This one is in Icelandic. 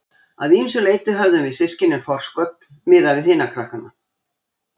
Að ýmsu leyti höfðum við systkinin forskot miðað við hina krakkana.